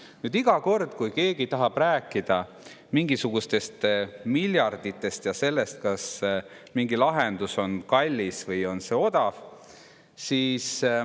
keegi tahab rääkida mingisugustest miljarditest ja sellest, kas mingi lahendus on kallis või odav.